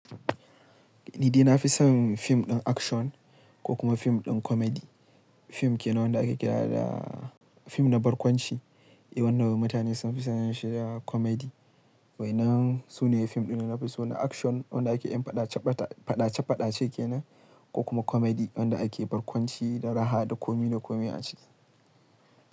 Ni dai na fi son fim ɗin action ko kuma fim ɗin comedy. Fim ke na wanda ake kira da fim na barkwanci. Eh, wanda mutane sun fi sanin da shi da comedy. Wainan sunaye fim ɗin da na fi so na action wanda ake yin faɗa ce faɗa ce ke nan ko kuma comedy wanda ake barkwanci da raha da komi da komi a ciki.